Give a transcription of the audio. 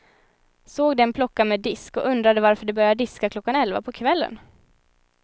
Såg dem plocka med disk och undrade varför de började diska klockan elva på kvällen.